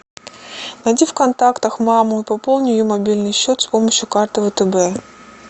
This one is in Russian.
найди в контактах маму и пополни ее мобильный счет с помощью карты втб